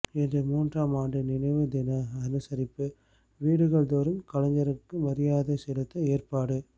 இன்று மூன்றாம் ஆண்டு நினைவு தினம் அனுசரிப்பு வீடுகள்தோறும் கலைஞருக்கு மரியாதை செலுத்த ஏற்பாடு